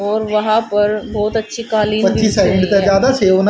और वहां पर बहुत अच्छी काली है।